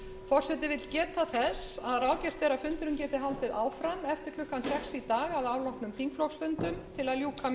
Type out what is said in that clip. forseti vill geta þess að ráðgert er að fundurinn geti haldið áfram